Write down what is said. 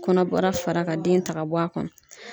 Kɔnɔbara fara ka den ta ka bɔ a kɔnɔ.